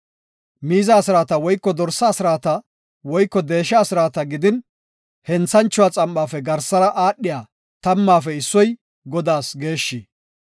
Miiza asraata woyko dorsa asraata woyko deesha asraata gidin, henthanchuwa xam7afe garsara aadhiya tammaafe issoy Godaas geeshshi.